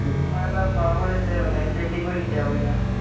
ਮੈਂ ਤਾਂ ਵਾਹਵਾ ਜਿੱਤੇ ਹੋਏ ਨੇ, ਪੇਟੀ ਭਰੀ ਪਈ ਆਪਣੀ ਤਾਂ